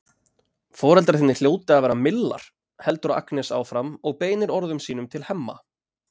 Foreldrar þínir hljóta að vera millar, heldur Agnes áfram og beinir orðum sínum til Hemma.